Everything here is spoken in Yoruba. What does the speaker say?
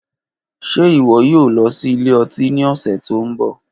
Ṣe iwọ yoo lọ si ilẹ-ọti ni ọsẹ to nbọ?